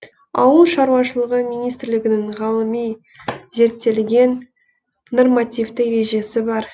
ауыл шаруашылығы министрлігінің ғылыми зерттелген нормативті ережесі бар